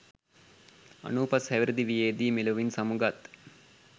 අනූ පස් හැවිරිදි වියේදී මෙලොවින් සමු ගත්